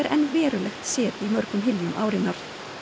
verulegt set í mörgum hyljum árinnar